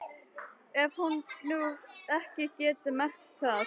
Ég hef nú ekki getað merkt það.